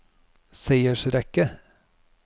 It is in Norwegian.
seiersrekke